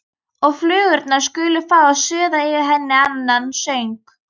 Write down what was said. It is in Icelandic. Og flugurnar skulu fá að suða yfir henni annan söng.